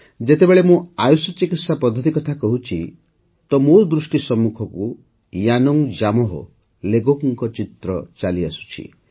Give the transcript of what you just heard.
ଯେତେବେଳେ ଆୟୁଷ ଚିକିତ୍ସା ପଦ୍ଧତି କଥା କହୁଛିି ତ ମୋ ଦୃଷ୍ଟି ସମ୍ମୁଖକୁ ୟାନୁଙ୍ଗ ଜାମୋହ ଲେଗୋଙ୍କ ଚିତ୍ର ଚାଲିଆସୁଛି